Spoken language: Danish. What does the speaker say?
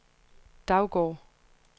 Daugård